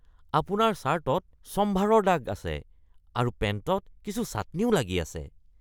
আপোনাৰ চাৰ্টত ছম্ভাৰৰ দাগ আছে আৰু পেন্টত কিছু চাটনিও লাগি আছে।